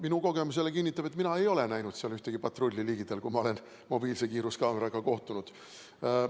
Minu kogemus jälle on, et mina ei ole näinud ühtegi patrulli ligidal, kui ma olen mobiilse kiiruskaameraga kohtunud.